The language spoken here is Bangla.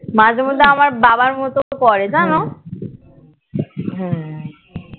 মাঝে মধ্যে আমার বাবার মতো করে জন্য